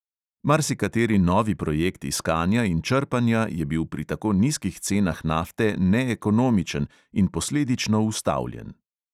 Marsikateri novi projekt iskanja in črpanja je bil pri tako nizkih cenah nafte neekonomičen in posledično ustavljen.